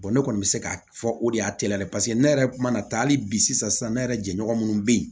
ne kɔni bɛ se k'a fɔ o de y'a ne yɛrɛ kuma na taa hali bi sisan ne yɛrɛ jɛɲɔgɔn minnu bɛ yen